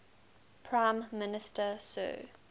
prime minister sir